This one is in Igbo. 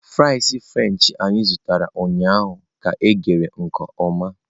Fries french anyị zụtara ụnyaahụ ka eghe nke ọma